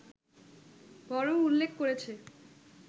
বরং উল্লেখ করেছে